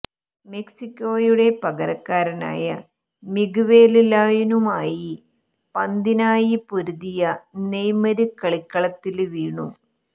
മെക്സിക്കോയുടെ പകരക്കരനായ മിഗുവേല് ലായുനുമായി പന്തിനായി പൊരുതിയ നെയ്മര് കളിക്കളത്തില് വീണു